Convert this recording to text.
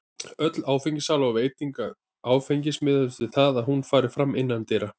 Öll áfengissala og veiting áfengis miðast við það að hún fari fram innandyra.